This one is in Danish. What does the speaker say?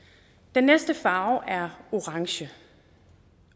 den næste farve er orange